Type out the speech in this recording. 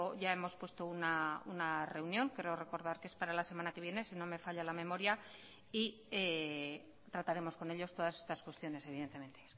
ya hemos puesto una reunión creo recordar que es para la semana que viene si no me falla la memoria y trataremos con ellos todas estas cuestiones evidentemente